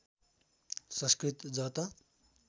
संस्कृत ज त